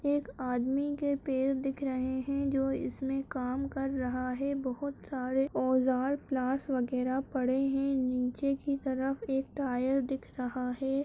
एक आदमी के पैर दिख रहे हैं जो इसमें काम कर रहा है बहोत सारे औजार प्लास वगैहरा पड़े हैं नीचे की तरफ एक टायर दिख रहा है।